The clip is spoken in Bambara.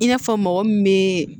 I n'a fɔ mɔgɔ min bɛ